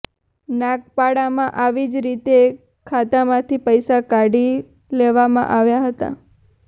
નાગપાડામાં આવી જ રીતે ખાતામાંથી પૈસા કાઢી લેવામાં આવ્યા હતા